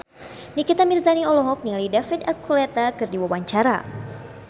Nikita Mirzani olohok ningali David Archuletta keur diwawancara